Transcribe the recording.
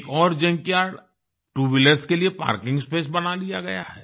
एक और junkyard two wheelers के लिए पार्किंग स्पेस बना दिया गया है